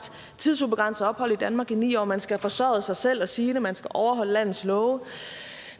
tidsubegrænset ophold i danmark i ni år man skal have forsørget sig selv og sine man skal overholde landets love